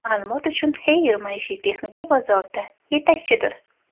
Ma’lumot uchun, Haier maishiy texnika bozorida yetakchidir.